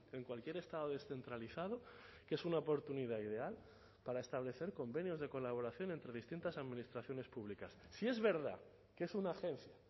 en cualquier estado descentralizado que es una oportunidad ideal para establecer convenios de colaboración entre distintas administraciones públicas si es verdad que es una agencia